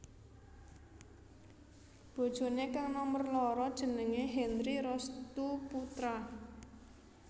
Bojoné kang nomer loro jenengé Henry Restoe Poetra